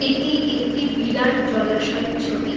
এটি একটি বিরাট জলাশয়ের ছবি।